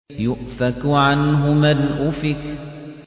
يُؤْفَكُ عَنْهُ مَنْ أُفِكَ